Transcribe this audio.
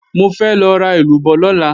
Mo fẹ́ lọ ra èlúbọ́ lọ́la